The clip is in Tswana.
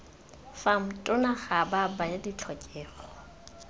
fam tona ga baya ditlhokego